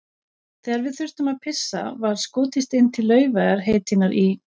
Þegar við þurftum að pissa var skotist inn til Laufeyjar heitinnar í